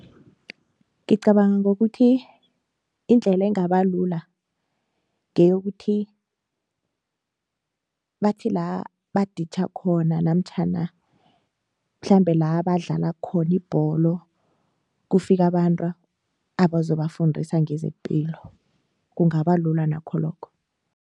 Ngicabanga ngokuthi indlela engaba lula ngeyokuthi bathi la baditjha khona namtjhana mhlambe la badlala khona ibholo kufika abantu abazobafundisa nqezepilo kungaba lula nakho lokho.